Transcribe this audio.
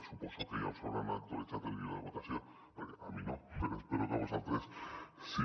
suposo que ja us deuen haver actualitzat el guió de votació perquè a mi no però espero que a vosaltres sí